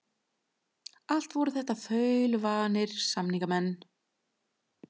Allt voru þetta þaulvanir samningamenn.